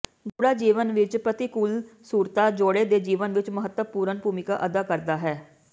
ਗੂੜ੍ਹਾ ਜੀਵਨ ਵਿਚ ਪ੍ਰਤੀਕੂਲਸੁਰਤਾ ਜੋੜੇ ਦੇ ਜੀਵਨ ਵਿੱਚ ਮਹੱਤਵਪੂਰਨ ਭੂਮਿਕਾ ਅਦਾ ਕਰਦਾ ਹੈ